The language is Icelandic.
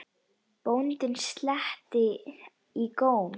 Bóndinn sletti í góm.